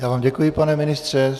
Já vám děkuji, pane ministře.